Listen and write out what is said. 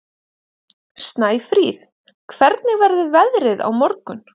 Snæfríð, hvernig verður veðrið á morgun?